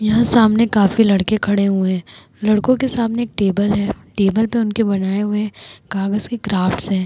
यहाँ सामने काफी लड़के खड़े हुए हैं। लड़कों के सामने टेबल है। टेबल पर उनके बनाए हुए कागज के क्राफ्ट्स है।